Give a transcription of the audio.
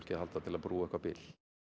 að halda til að brúa eitthvert bil